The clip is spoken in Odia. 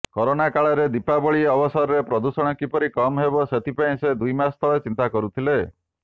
କରୋନା କାଳରେ ଦୀପାବଳି ଅବସରରେ ପ୍ରଦୂଷଣ କିପରି କମ୍ ହେବ ସେଥିପାଇଁ ସେ ଦୁଇମାସ ତଳେ ଚିନ୍ତା କରୁଥିଲେ